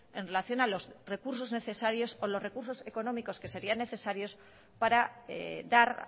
en relación a los recursos necesarios o los recursos económicos que serían necesarios para dar